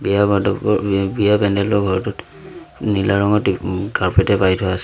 বিয়া পেন্দেলৰ ঘৰটোত নীলা ৰঙৰ ত্ৰি ওম কাৰ্পেট এ পাৰি থোৱা আছে।